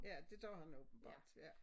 Ja det gør han åbenbart ja